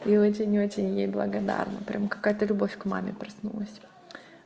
и очень очень ей благодарна прямо какая-то любовь к маме проснулась